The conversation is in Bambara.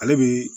Ale bi